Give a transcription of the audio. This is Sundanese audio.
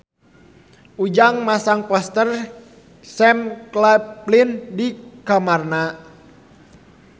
Ujang masang poster Sam Claflin di kamarna